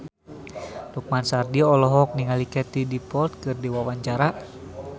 Lukman Sardi olohok ningali Katie Dippold keur diwawancara